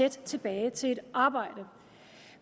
og tilbage i et arbejde